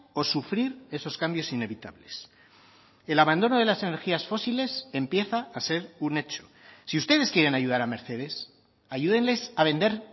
o sufrir esos cambios inevitables el abandono de las energías fósiles empieza a ser un hecho si ustedes quieren ayudar a mercedes ayúdenles a vender